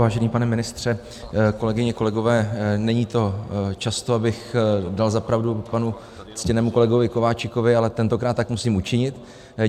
Vážený pane ministře, kolegyně, kolegové, není to často, abych dal za pravdu panu ctěnému kolegovi Kováčikovi, ale tentokrát tak musím učinit.